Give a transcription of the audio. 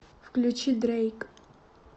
включи дрэйк